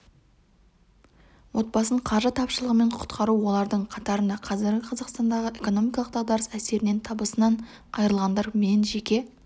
отбасын қаржы тапшылығынан құтқару олардың қатарында қазіргі қазақстандағы экономикалық дағдарыс әсерінен табысынан айырылғандар мен жеке